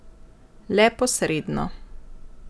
Le posredno.